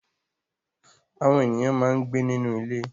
Àwọn ènìyàn máa ń gbé nínú ilé.